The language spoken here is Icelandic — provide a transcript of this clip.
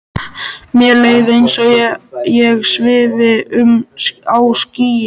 Mér leið eins og ég svifi um á skýi.